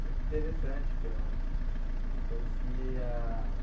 Muito interessante, que eu não eu não conhecia.